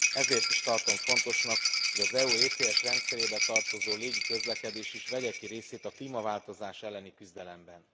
Ezért is tartom fontosnak, hogy az EU kibocsátáskereskedelmi rendszerébe tartozó légiközlekedés is vegye ki részét a klímaváltozás elleni küzdelemben.